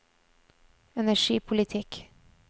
energipolitikk